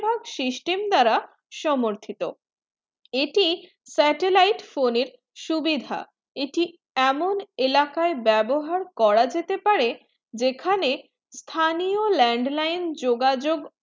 ভায়াক system দ্বারা সমর্থিত এটি satellite phone এর সুবিধা এটি এমন ইলাকা বেবহার করা যেতে পারে যেখানে স্থানীয় landline যোগাযোগ